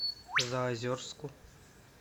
заозерску